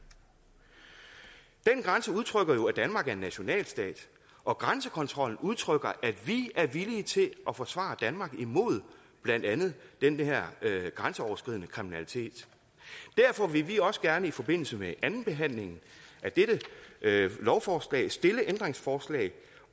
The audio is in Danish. den grænse udtrykker jo at danmark er en nationalstat og grænsekontrollen udtrykker at vi er villige til at forsvare danmark imod blandt andet den her grænseoverskridende kriminalitet derfor vil vi også gerne i forbindelse med andenbehandlingen af dette lovforslag stille et ændringsforslag